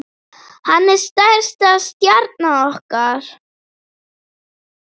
Hann er stærsta stjarna okkar.